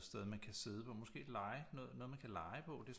Et sted man kan sidde på måske et lege noget noget man kan lege på det er